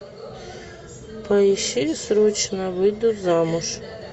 поищи срочно выйду замуж